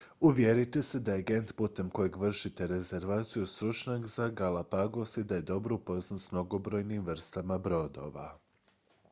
uvjerite se da je agent putem kojeg vršite rezervaciju stručnjak za galapagos i da je dobro upoznat s mnogobrojnim vrstama brodova